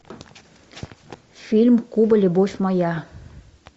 фильм куба любовь моя